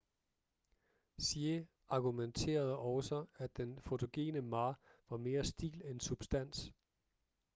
hsieh argumenterede også at den fotogene ma var mere stil end substans